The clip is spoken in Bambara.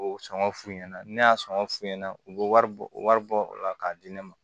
O sɔngɔ f'u ɲɛna ne y'a sɔngɔn f'u ɲɛna u be wari bɔ wari bɔ o la k'a di ne ma